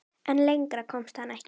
En lengra komst hann ekki.